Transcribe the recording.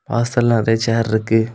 வாசல்ல நறைய சேர் இருக்கு.